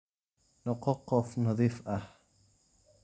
Noqo qof nadiif ah